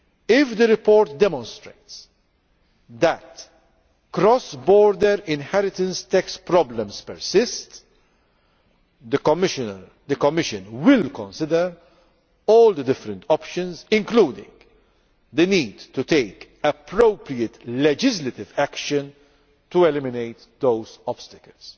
If the report demonstrates that cross border inheritance tax problems persist, the Commission will consider all the different options, including the need to take appropriate legislative action to eliminate those obstacles.